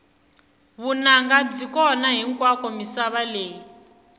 vunanga byi kona hinkwako misava leyi